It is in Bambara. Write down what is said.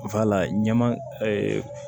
ɲɛma